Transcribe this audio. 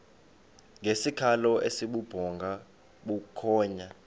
ngesikhalo esibubhonga bukhonya